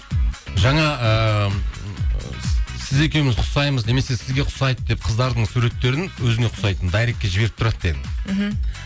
жаңа ыыы сіз екеуіміз ұқсаймыз немесе сізге ұқсайды деп қыздардың суреттерін өзіңе ұқсайтын дайректке жіберіп тұрады дедің мхм